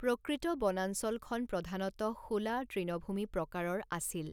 প্ৰকৃত বনাঞ্চলখন প্ৰধানতঃ শোলা তৃণভূমি প্ৰকাৰৰ আছিল।